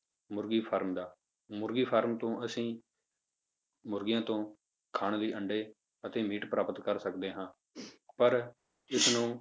ਮੁਰਗੀ farm ਦਾ ਮੁਰਗੀ farm ਤੋਂ ਅਸੀਂ ਮੁਰਗੀਆਂ ਤੋਂ ਖਾਣ ਲਈ ਅੰਡੇ ਅਤੇ ਮੀਟ ਪ੍ਰਾਪਤ ਕਰ ਸਕਦੇ ਹਾਂ ਪਰ ਇਸਨੂੰ